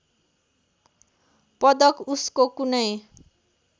पदक उसको कुनै